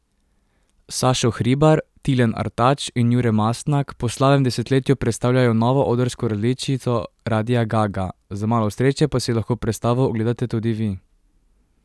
Sašo Hribar, Tilen Artač in Jure Mastnak po slabem desetletju predstavljajo novo odrsko različico Radia Ga Ga, z malo sreče pa si lahko predstavo ogledate tudi vi!